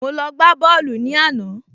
Mo lọ gbá bọ́ọ̀lù ní àná